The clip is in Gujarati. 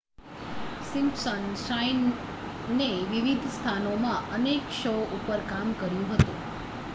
સિમ્પસન સાઈમને વિવિધ સ્થાનોમાં અનેક શો ઉપર કામ કર્યું હતું